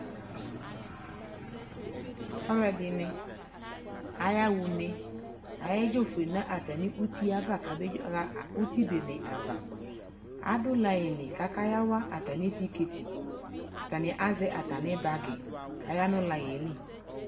Alʋɔdi ni ayaɣa une, ayedzofue nʋ atami uti ava kabaɣa uti bene ava Adʋ laiŋ lι kʋ akayawa atami tiketi Atani azɛ atami bagi kaya nʋ laiŋ yɛ lι